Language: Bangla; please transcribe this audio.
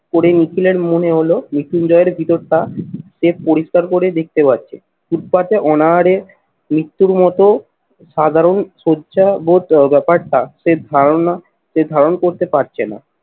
করে নিখিলের মনে হল মৃত্যুঞ্জয়ের ভিতরটা সে পরিষ্কার করে দেখতে পাচ্ছে। ফুটপাতে অনাহারে মৃত্যুর মতো সাধারণ সজ্জা বোধ ব্যাপারটা সেই ধারণা সে ধারণ করতে পারছে না।